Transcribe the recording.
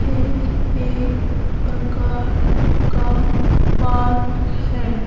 ये एक प्रकार का पार्क है।